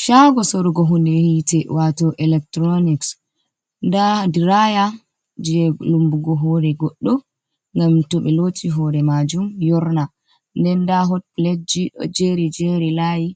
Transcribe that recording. Shago sorugo hunde hitte wato electronics, nda diraya je lumbugo hore goɗɗo ngam to ɓe loti hore majum yorna, den da hot pletji ɗo jeri jery layi